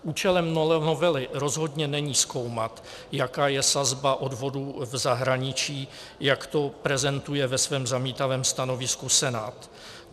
Účelem novely rozhodně není zkoumat, jaká je sazba odvodů v zahraničí, jak to prezentuje ve svém zamítavém stanovisku Senát.